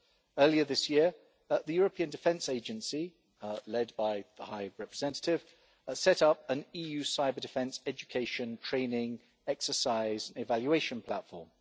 Earlier this year, the European Defence Agency, led by the High Representative, set up an EU cyber-defence, education and training exercise evaluation platform.